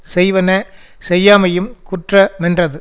செய்வன செய்யாமையும் குற்ற மென்றது